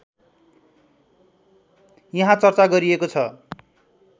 यहाँ चर्चा गरिएको छ